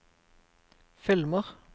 filmer